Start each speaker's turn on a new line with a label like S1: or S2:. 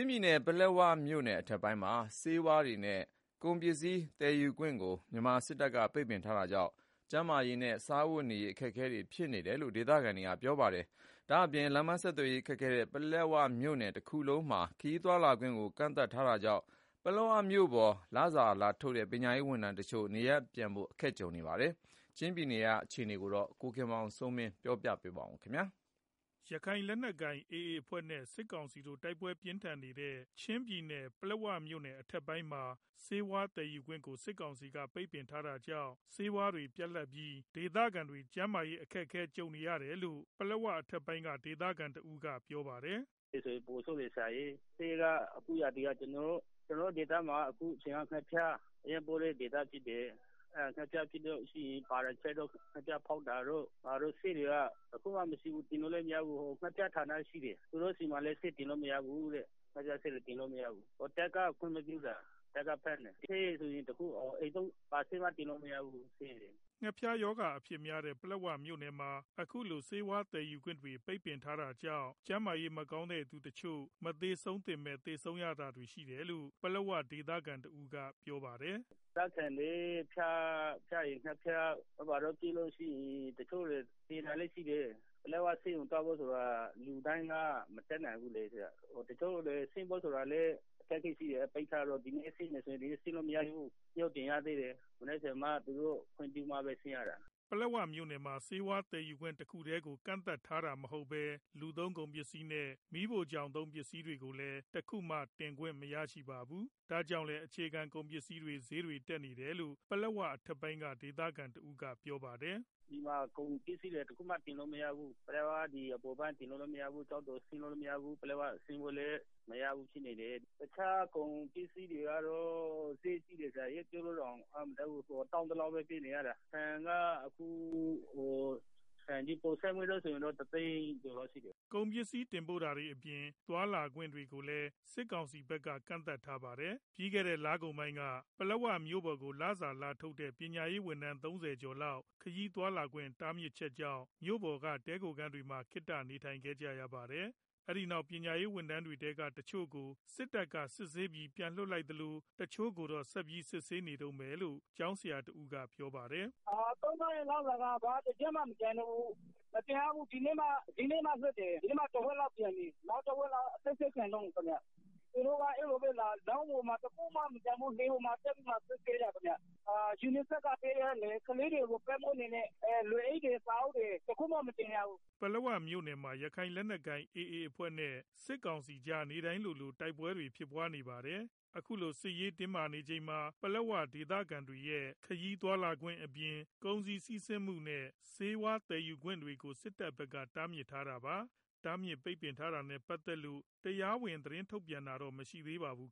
S1: ျင်းပြည်နယ်က ပလက်ဝမြို့နယ် အထက်ပိုင်းမှာ ဆေးဝါးတွေနဲ့ ကုန်ပစ္စည်း သယ်ယူခွင့်တွေကို မြန်မာစစ်တပ်က ပိတ်ပင်ထားတာကြောင့် ကျန်းမာရေးနဲ့ စားဝတ်နေရေးအတွက် အခက်အခဲတွေ ဖြစ်နေတယ်လို့ ဒေသခံတွေက ပြောဆိုကြပါတယ်။ ဒါ့အပြင် လမ်းပန်းဆက်သွယ်ရေး ခက်ခဲတဲ့ ပလက်ဝမြို့ နယ် တခုလုံးမှာ ခရီးသွားလာခွင့်တွေကိုလည်း ကန့်သတ်ထားတာကြောင့် ပလက်ဝမြို့ပေါ်ကို လစာလာထုတ်တဲ့ ပညာရေးဝန်ထမ်းတချို့ နေရပ်ပြန်ဖို့ အခက်ကြုံနေရတယ်လို့ ပြောပါတယ်။ ချင်းပြည်နယ် အခြေအနေ သတင်းပေးပို့ချက်ကို ကိုခင်မောင်စိုးမင်း က တင်ပြပေးပါမယ်။ ရခိုင်လက်နက်ကိုင်AAအဖွဲ့ နဲ့ စစ်ကောင်စီတို့ တိုက်ပွဲပြင်းထန်နေတဲ့ ပလက်ဝမြို့နယ် အထက်ပိုင်းမှာ ဆေးဝါးသည်ယူခွင့်တွေကို စစ်ကောင်စီဘက်က ပိတ်ပင်ထားတာကြောင့် ဆေးဝါးတွေပြတ်လတ်ပြီး ဒေသခံတွေ ကျန်းမာရေး အခက်ကြုံနေရတယ်လို့ ပလက်ဝ အထက်ပိုင်းက ဒေသခံတဦးကပြောပါတယ်
S2: ။ “ ဒီမှာဆေးဝါးတွေဆိုရင် ပိုဆိုးတယ်ဆရာရယ်။ ကျနော်တို့ ဒေသမှာ ဒီအချိန်က ငှက်ဖျား အရမ်းဖြစ်တဲ့ ဒေသဖြစ်တယ်။ ငှက်ဖျားဖြစ်လို့ရှိရင် သောက်ဖို့ ငှက်ဖျားဆေးတွေက တခုမှမရှိဘူး တင်လို့လည်းမရဘူး။ ဒီမှာ ငှက်ဖျားဌာနရှိတယ်၊ သူတို့မှာလည်း ဆေးတင်လို့ မရဘူးတဲ့။ တပ်ကခွင့်မပြုတာ တပ်က ကန့်ထားတာ။ ဆေးဆိုရင် ဘာဆေးမှတင်လို့မရဘူး။ အိမ်သုံးဆေးတွေလည်းတင်လို့မ
S1: ရဘူး။” ငှက်ဖျားရောဂါအဖြစ်များတဲ့ ပလက်ဝမြို့နယ်မှာ အခုလို ဆေးဝါးသယ်ယူခွင့်တွေ ပိတ်ပင်ခံ ထားရတာကြောင့် ကျန်းမာရေး မကောင်းသူတချို့ မသေဆုံးသင့်ဘဲ သေဆုံးရတာတွေ ရှိတယ်လို့လည်း ပလက်ဝဒေသခံတဦးကပြောပါတယ်။
S2: “ ဒေသခံတွေ ငှက်ဖျားတို့ ဘာတို့ဖြစ်လို့ရှိရင် တချို့တွေ သေတာလည်းရှိတယ်။ ပလက်ဝ ဆေးရုံကို သွားဖို့ဆိုတာလည်း လူတိုင်းမတတ်နိုင်ဘူးလေ၊ ပလက်ဝကို ဆင်းဖို့လည်း အခက်အခဲရှိတယ်။ ပိတ်ထားတော့လေ၊ ဒီနေ့ ဆင်းမယ်ဆိုရင် ဒီနေ့ ဆင်းလို့မရဘူး။ ခွင့်ပြုချက် တင်ရသေးတယ် ။သူတို့ခွင့်ပြုမှဆင်းရတာ”
S1: ပလက်ဝမြို့နယ်မှာ ဆေးဝါးသယ်ယူခွင့် တခုတည်းကို ကန့်သတ်ထားတာမျိုးမဟုတ်ပဲ လူသုံးကုန်ပစ္စည်းတွေနဲ့ မီးဖိုချောင်သုံးပစ္စည်းတွေလည်း တခုမှ တင်ခွင့်မရပါဘူး။ ဒါကြောင့်လည်း အခြေခံ ကုန်ပစ္စည်းတွေ ဈေးတွေတက်နေတယ်လို့ ပလက်ဝ အထက်ပိုင်းက ဒေသခံတဦးကပြောပါတယ်။
S2: “ ကုန်ပစ္စည်းတွေလည်း တခုမှတင်လို့မရဘူး။ ပလက်ဝအပေါ်ပိုင်းကို တင်လို့လည်းမရဘူး။ ကျောက်တော်ကို ဆင်းလို့လည်းမရဘူး။ ကုန်ပစ္စည်းတွေကတော့ မပြောပြတတ် လောက် အောင်ဈေးကြီးတယ်။ တောင်းသလောက်ပေးနေရတယ်။ ဆန်က ပေါ်ဆန်းမွေးဆိုရင် တအိတ်ကို တသိန်းကျော်လောက်ရှိတယ်။
S1: ” ကုန်ပစ္စည်း တင်ပို့တာတွေအပြင် သွားလာခွင့်တွေကိုလည်း စစ်ကောင်စီဘက်က ကန့်သတ်ထားပါတယ်။ ပြီးခဲ့တဲ့ လပိုင်းကုန်ပိုင်းက ပလက်ဝမြို့ပေါ်ကို လစာလာထုတ်တဲ့ ပညာရေးဝန်ထမ်း ၃၀ ကျော်လောက် ခရီးသွားလာခွင့် တားမြစ်ချင်ကြောင့် မြို့ပေါ်က တည်ခိုခန်းတွေမှာ ခေတ္တ နေထိုင်ခဲ့ကြပါတယ်။ နောက်ပိုင်း အဲဒီပညာရေးဝန်ထမ်းတွေထဲက တချို့ကို စစ်တပ်က စစ်ဆေးပြီး ပြန်လွတ်လိုက်သလို တချို့ကိုတော့ ဆက်ပြီး စစ်ဆေးနေတုန်းပဲလို့ ကျောင်းဆရာတဦးက ပြောပါတယ်
S2: ။ “ ထုတ်ထားတဲ့ လစာက တပြားမှမကျန်တော့ဘူး။ မပြန်ရဘူး။ ဒီနေ့မှလွတ်တယ် ။ ဒီကနေ့ ကတော့ တဝက်လောက်ပြန်တယ်။ ကျန်တဲ့ တဝက်လောက်ကတော့ အစစ်ဆေးခံနေရတုံးခင်ဗျ ။ သူတို့က တခုမှမတင်ရဘူး။ လှေပေါ်မှာ တက်ပြီးတော့မှ စစ်ဆေးတာ၊ UNICEF က ပေးတဲ့ ကလေးတွေကို ပေးနေတဲ့ လွယ်အိတ်တွေ စာအုပ်တွေတခုမှမတင်ရဘူး
S1: ။ ” ပလက်ဝမြို့နယ်မှာ ရခိုင်လက်နက်ကိုင် A A အဖွဲ့နဲ့ စစ်ကောင်စီကြား နေ့တိုင်းလိုလို တိုက်ပွဲတွေ ဖြစ်ပွားနေတာပါ။ အခုလို စစ်ရေးအရ တင်းမာနေချိန်မှာ ပလက်ဝ ဒေသခံတွေရဲ့ ခရီးသွားလာခွင့်အပြင် ကုန်စည်စီးဆင်းမှုနဲ့ ဆေးဝါးသယ်ယူခွင့်တွေကို စစ်ကောင်စီဘက်က တားမြစ်ထားတာပါ။ တားမြစ်ပိတ်ပင်ထားတာနဲ့ ပတ်သက်လို့ တရားဝင် အကြောင်းပြချက်ပေး သတင်းထုတ်ပြန်တာတော့ မရှိသေးပါဘူး